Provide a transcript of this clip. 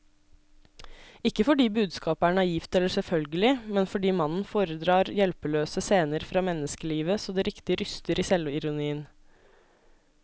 Ikke fordi budskapet er naivt eller selvfølgelig, men fordi mannen foredrar hjelpeløse scener fra menneskelivet så det riktig ryster i selvironien.